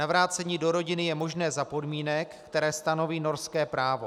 Navrácení do rodiny je možné za podmínek, které stanoví norské právo.